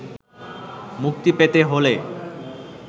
মুক্তি পেতে হলে